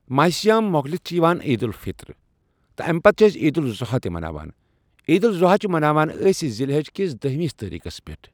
ماہ سیام مۄکلِتھ چِھ یوان عید الفطر تہٕ امہِ پتہٕ چِھ أسۍ عید الاضحی تہِ مناوان عید الاضحی چھِ أسۍ مناوان ذالحج کِس دہمِس تٲریٖخس پٮ۪ٹھ